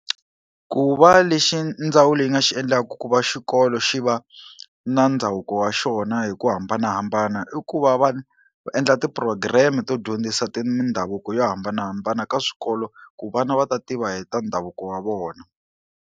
Ku va lexi ndzawulo yi nga xi endlaku ku va xikolo xi va na ndhavuko wa xona hi ku hambanahambana i ku va va endla ti-program to dyondzisa mindhavuko yo hambanahambana ka swikolo ku vana va ta tiva hi ta ndhavuko wa vona.